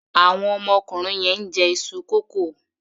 Àwọn ọmọkùnrin yẹn ń jẹ iṣu kókò.